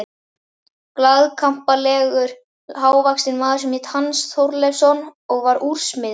Glaðkampalegur, hávaxinn maður sem hét Hans Þorleifsson og var úrsmiður.